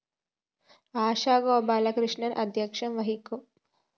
ആശ ഗോപാലകൃഷ്ണന്‍ ആധ്യക്ഷം വഹിക്കും